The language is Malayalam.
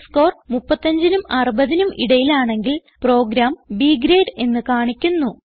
ടെസ്റ്റ്സ്കോർ 35നും 60നും ഇടയിലാണെങ്കിൽ പ്രോഗ്രാം B ഗ്രേഡ് എന്ന് കാണിക്കുന്നു